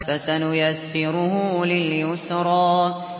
فَسَنُيَسِّرُهُ لِلْيُسْرَىٰ